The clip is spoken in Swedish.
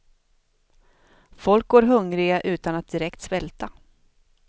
Folk går hungriga utan att direkt svälta.